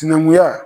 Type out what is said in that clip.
Sinankunya